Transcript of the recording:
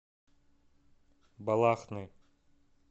балахны